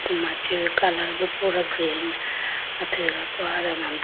machi colour bi pura green athuyiga po aye do ma bi.